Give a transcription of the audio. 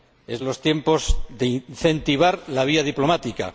Son los tiempos de incentivar la vía diplomática.